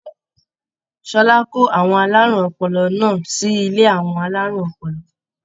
Ṣọlá kó àwọn alárùn ọpọlọ náà sí ilé àwọn alárùn ọpọlọ.